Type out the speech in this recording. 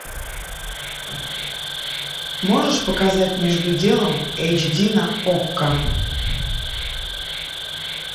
можешь показать между делом эйч ди на окко